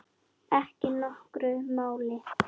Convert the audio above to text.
Ekki nokkru máli.